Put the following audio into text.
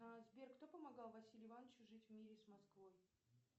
сбер кто помогал василию ивановичу жить в мире с москвой